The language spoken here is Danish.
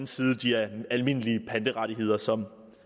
side de almindelige panterettigheder som